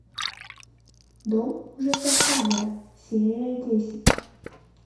дом ужасов хаммера серия десять